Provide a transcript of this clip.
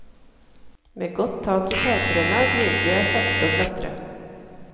Med godt tak i takrenna begynte jeg sakte å klatre.